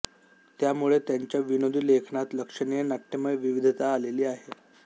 त्यामुळे त्यांच्या विनोदी लेखनात लक्षणीय नाट्यमय विविधता आलेली आहे